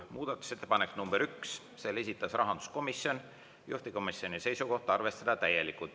Muudatusettepanek nr 1, selle esitas rahanduskomisjon, juhtivkomisjoni seisukoht on, et arvestada täielikult.